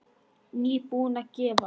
Nýbúin að gefa.